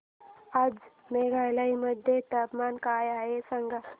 आज मेघालय मध्ये तापमान काय आहे सांगा